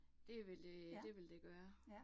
Det vil det, det vil det gøre